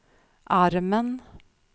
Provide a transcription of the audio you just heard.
armen